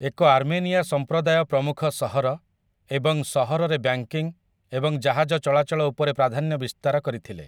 ଏକ ଆର୍ମେନିଆସମ୍ପ୍ରଦାୟ ପ୍ରମୁଖ ସହର ଏବଂ ସହରରେ ବ୍ୟାଙ୍କିଙ୍ଗ୍‌‌ ଏବଂ ଜାହାଜ ଚଳାଚଳ ଉପରେ ପ୍ରାଧାନ୍ୟ ବିସ୍ତାର କରିଥିଲେ ।